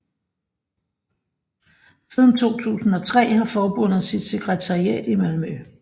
Siden 2003 har forbundet sit sekretariat i Malmø